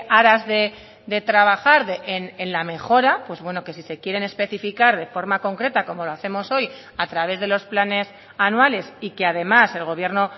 aras de trabajar en la mejora pues bueno que si se quieren especificar de forma concreta como lo hacemos hoy a través de los planes anuales y que además el gobierno